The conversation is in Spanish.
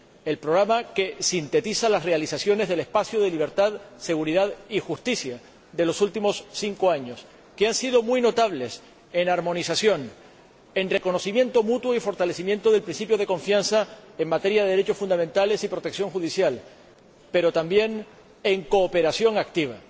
El programa que sintetiza las realizaciones del espacio de libertad, seguridad y justicia de los últimos cinco años, que han sido muy notables en armonización, en reconocimiento mutuo y en fortalecimiento del principio de confianza en materia de derechos fundamentales y protección judicial, pero también en cooperación activa.